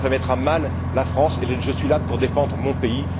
Cela va mettre à mal la France, et je suis là pour défendre mon pays.